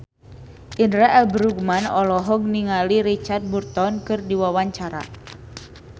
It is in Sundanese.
Indra L. Bruggman olohok ningali Richard Burton keur diwawancara